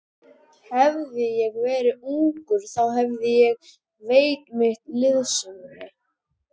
Hefði ég verið ungur, þá hefði ég veitt mitt liðsinni.